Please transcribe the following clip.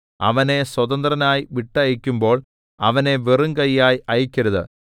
അവനെ സ്വതന്ത്രനായി വിട്ടയയ്ക്കുമ്പോൾ അവനെ വെറും കയ്യായി അയയ്ക്കരുത്